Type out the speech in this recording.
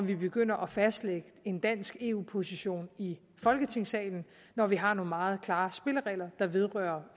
vi begynder at fastlægge en dansk eu position i folketingssalen når vi har nogle meget klare spilleregler der vedrører